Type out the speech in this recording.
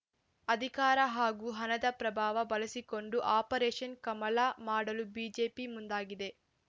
ಅಧಿಕಾರ ಹಾಗೂ ಹಣದ ಪ್ರಭಾವ ಬಳಸಿಕೊಂಡು ಆಪರೇಷನ್‌ ಕಮಲ ಮಾಡಲು ಬಿಜೆಪಿ ಮುಂದಾಗಿದೆ